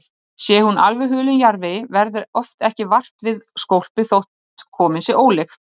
Sé hún alveg hulin jarðvegi verður oft ekki vart við skólpið þótt komin sé ólykt.